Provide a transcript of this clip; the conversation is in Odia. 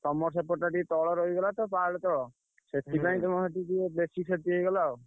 ତମ ସେପଟଟା ଟିକେ ତଳ ରହିଗଲାତ ପାହାଡତ ସେଥିପାଇଁ ତମର ସେଠି ଟିକେ ବେଶୀ କ୍ଷତି ହେଇଗଲା ଆଉ।